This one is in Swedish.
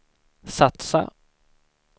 satsa